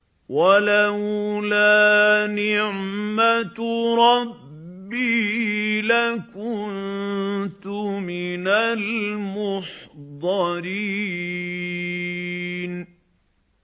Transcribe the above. وَلَوْلَا نِعْمَةُ رَبِّي لَكُنتُ مِنَ الْمُحْضَرِينَ